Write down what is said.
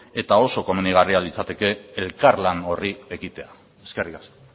eta oso komenigarria litzateke elkarlan horri ekitea eskerrik asko